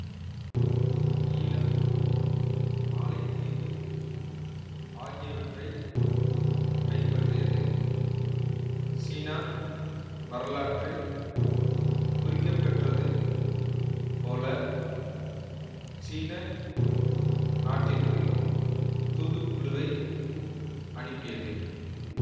ஈழம் மாலைதீவு ஆகியவற்றை கைப்பற்றியது சீனா வரலாற்றில் குறிக்கப்பெற்றது போல சீன நாட்டிற்கு தூதுக்குழுவை அனுப்பியது